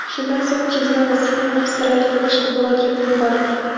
Shundan so‘ng chizma va sxema Avstraliyaga boshqa blogerga yuborildi.